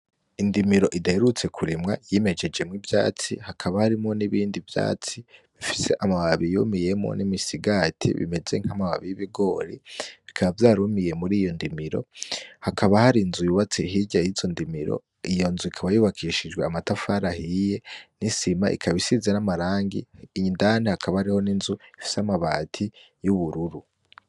Indimiro idaherutse kurimwa yimejejemwo ivyatsi hakaba harimwo nibindi vyatsi bifise amababi yumiyemwo n'imisigati imeze nkamababi y'ibigori, bikaba vyarumiye muri iyo ndimiro hakaba hari inzu yubatse hirya yizo ndimiro iyo nzu ikaba yubakishijwe amatafari ahiye nisima ikaba isizwe namarangi indani hakaba hariho n'inzu ifise amabati yubururu .